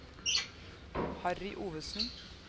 Harry Ovesen